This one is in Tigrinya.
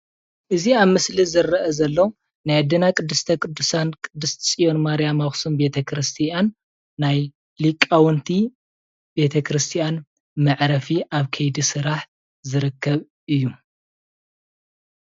እዚ ኣብ ምስሊ ዝረአ ዘሎ ናይ ኣዴና ቅድስተ ቅዱሳን ቅድስት ፅዮን ማርያም ኣክሱም ቤተ ክርስትያን ናይ ሊቃውንቲ ቤተ ክርስትያን መዕረፊ ኣብ ከይዲ ስራሕ ዝርከብ እዩ፡፡